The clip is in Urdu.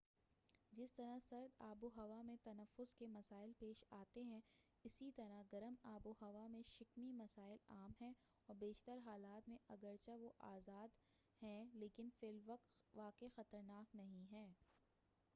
جس طرح سرد آب و ہوا میں تنفس کے مسائل پیش آتے ہیں اسی طرح گرم آب و ہوا میں شکمی مسائل عام ہیں اور بیشتر حالات میں اگرچہ وہ آزار دہ ہیں لیکن فی الواقع خطرناک نہیں ہیں